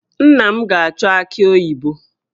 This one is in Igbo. Nna m ga-achọ aki oyibo